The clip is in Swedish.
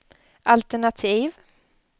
alternativ